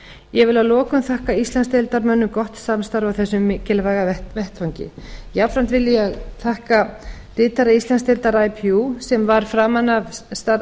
ég vil að lokum þakka íslandsdeildarmönnum gott samstarf á þessum mikilvæga vettvangi jafnframt vil ég þakka ritara íslandsdeildar ipu sem var framan af